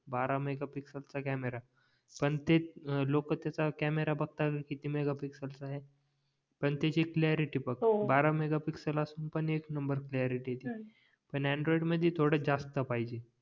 बारा मेगापिक्सएल चा कॅमेरा पण ते लोक त्याचा कॅमेरा मेगापिक्सएल चा आहे पण त्याची कॅलॅरिटी बघ बारा मेगापिक्सएल असून पण एक नंबर कॅलॅरिटी ती पण अँड्राईड मध्ये थोडं जास्त पाहिजे